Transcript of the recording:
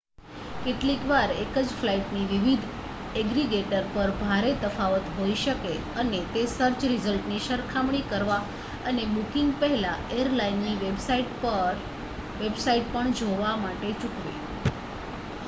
કેટલીક વાર એક જ ફ્લાઇટની વિવિધ એગ્રીગેટર પર ભારે તફાવત હોઈ શકે અને તે સર્ચ રિઝલ્ટની સરખામણી કરવા અને બુકિંગ પહેલાં એરલાઇનની વેબસાઇટ પણ જોવા માટે ચૂકવે